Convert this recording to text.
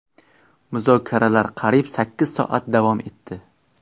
Muzokaralar qariyb sakkiz soat davom etdi.